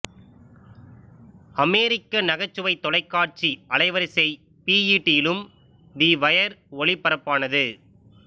அமெரிகக நகைச்சுவைத் தொலைக்காட்சி அலைவரிசை பிஈடி இலும் தி வயர் ஒளிபரப்பானது